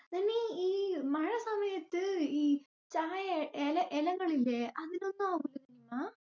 നിനി ഈ മഴ സമയത് ഈ ചായ എലഎലകളില്യെ അതിനൊന്നും